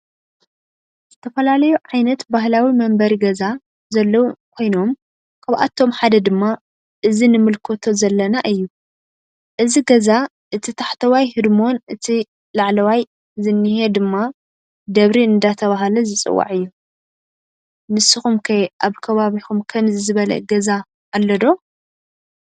ዝተፈላለዩ ዓይነት ባህላዊ መንበሪ ገዛ ዘለዎ ኮይኖም ካብአቶም ሓደ ድማ እዚ ንምልከቶ ዘለና እዩ። እዚ ገዛ እቲ ታሕተዋይ ህድሞን እቲ በላዕለዋይ ዝኒሄ ድማ ደብሪ እናተባህለ ዝፅዋዕ እዩ። ንስኩም ከ አብ ከባቢኩም ከምዚ ዝበለ ገዛ አሎ ዶ?